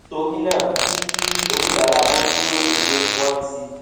torí náà kí kí oníbàárà tó kúrò nílé wón ti